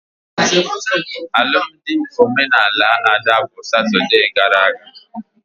Alụmdi omenala Ada bụ Satode gara aga